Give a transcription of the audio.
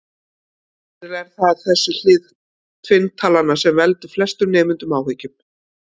Sennilega er það þessi hlið tvinntalnanna sem veldur flestum nemendum áhyggjum.